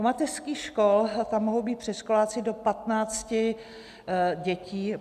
U mateřských škol, tam mohou být předškoláci do 15 dětí.